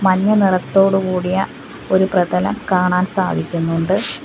മഞ്ഞ നിറത്തോടുകൂടിയ ഒരു പ്രതലം കാണാൻ സാധിക്കുന്നുണ്ട്.